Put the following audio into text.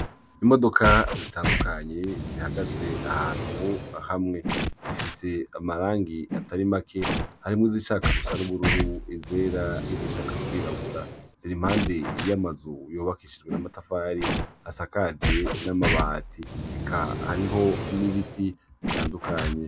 Imodoka zitandukanye zihagaze ahantu hamwe zifise amarangi atari make harimwo izishaka gusa n'ubururu izera n'izishaka kwirabura ziri impande y'amazu yubakishijwe n'amatafari asakaje n'amabati eka hariho n'ibiti bitandukanye.